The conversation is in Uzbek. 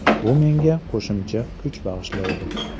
Bu menga qo‘shimcha kuch bag‘ishlaydi.